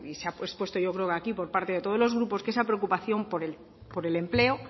se ha expuesto yo creo que aquí por parte de todos los grupos que esa preocupación por el empleo